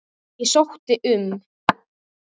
Ég sótti um.